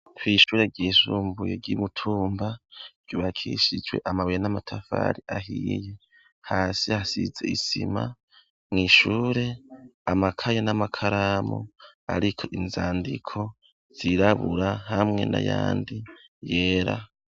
kwishure ryisumbuye ryi Mutumba byubakishijwe amabire n'amatafari ahiye hasi hasize isima mu ishure amakayo n'amakaramu ariko inzandiko zirabura hamwe n'ayandi yera.